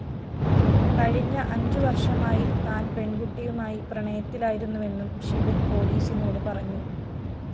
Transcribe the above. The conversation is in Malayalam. കഴിഞ്ഞ അഞ്ചുവര്‍ഷമായി താന്‍ പെണ്‍കുട്ടിയുമായി പ്രണയത്തിലായിരുന്നുവെന്നും ഷിബിന്‍ പോലീസിനോട് പറഞ്ഞു